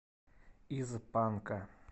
из панка